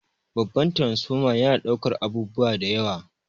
Babbar taransifoma yana daukar abubuwa da yawa.